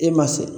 E ma se